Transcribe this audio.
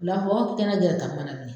Bila hɔɔ k'i ka na gɛrɛ ka n banamini